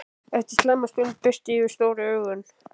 Eftir skamma stund birti yfir stóru augunum.